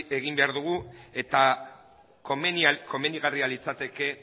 esan egin behar dugu eta komenigarria litzateke